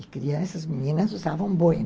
E crianças, meninas, usavam boina.